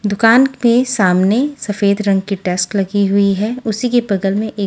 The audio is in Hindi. दुकान के सामने सफ़ेद रंग की डेस्क लगी हुई है उसी के बगल में एक--